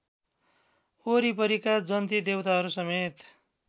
वरिपरिका जन्ती देवताहरूसमेत